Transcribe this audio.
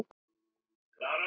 Ég segi: Góða nótt!